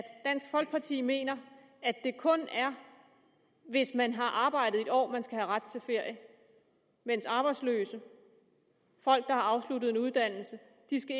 dansk folkeparti mener at det kun er hvis man har arbejdet et år at man skal have ret til ferie mens arbejdsløse folk der har afsluttet en uddannelse